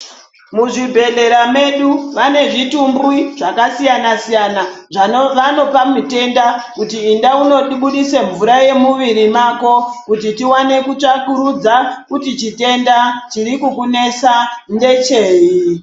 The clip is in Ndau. Muzvibhedhlera medu vane zvitumbwi zvakasiyana siyana zvavanopa mutenda kuti enda undobudise mvura yemuviri mako kuti tiwane kutsvakurudza chitenda chiri kukunesa mumwiri mako ndechei.